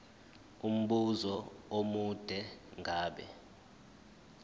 umbuzo omude ngabe